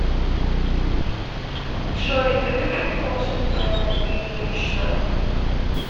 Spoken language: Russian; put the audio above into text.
джой любит кошек белла ильинична